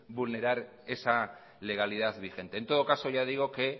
vulnerar esa legalidad vigente en todo caso ya digo que